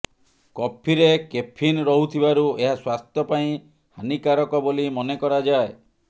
କଫିରେ କେଫିନ୍ ରହୁଥିବାରୁ ଏହା ସ୍ୱାସ୍ଥ୍ୟ ପାଇଁ ହାନୀକାରକ ବୋଲି ମନେକରାଯାଏ